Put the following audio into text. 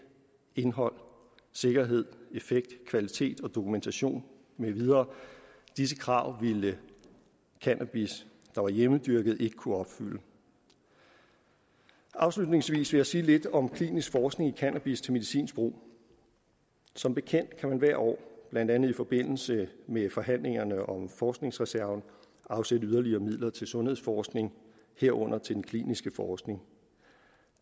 indhold sikkerhed effekt kvalitet dokumentation med videre disse krav ville cannabis der var hjemmedyrket ikke kunne opfylde afslutningsvis vil jeg sige lidt om klinisk forskning i cannabis til medicinsk brug som bekendt kan man hvert år blandt andet i forbindelse med forhandlingerne om forskningsreserven afsætte yderligere midler til sundhedsforskning herunder til den kliniske forskning